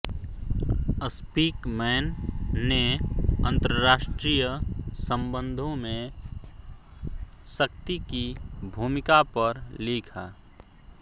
Speakman ने अंतर्राष्ट्रीय संबंधों में शक्ति की भूमिका पर लिखा